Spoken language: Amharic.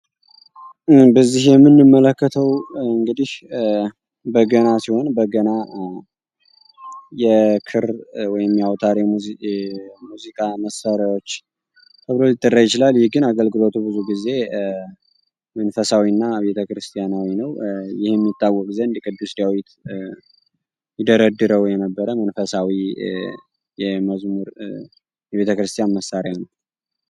በዚህ የምንመለከተው በገና ሲሆን በገና የአውታር ወይም የሙዚቃ መሳሪያዎች ተብሎ ሊጠራ ይችላል አገልግሎቱ ብዙ ጊዜ እንስሳዊና ቤተ ክርስቲያናዊ ነው ቅዱስ ያሬድ ይደረድረው የነበረው መንፈሳዊ መዝሙር ቤተክርስቲያን መሳሪያ ነው።